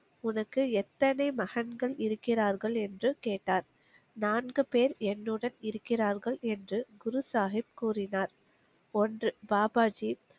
உனக்கு எத்தனை மகன்கள் இருக்கிறார்கள் என்று கேட்டார். நான்கு பேர் என்னுடன் இருக்கிறார்கள் என்று குரு சாகிப் கூறினார். ஒன்று. பாபாஜி